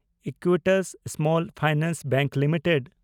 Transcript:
Equitas Small Finance Bank limited